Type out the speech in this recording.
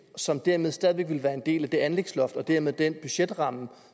som dermed stadig væk ville være en del af det anlægsloft og dermed den budgetramme